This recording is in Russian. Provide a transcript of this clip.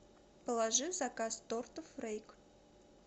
положи в заказ тортов рейк